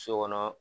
So kɔnɔ